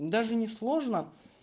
даже не сложно